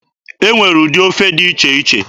E nwere ụdị ofe dị iche iche.